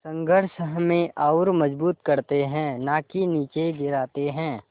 संघर्ष हमें और मजबूत करते हैं नाकि निचे गिराते हैं